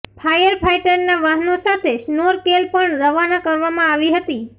ફાયરફાઈટરના વાહનો સાથે સ્નોરકેલ પણ રવાના કરવામાં આવી હતી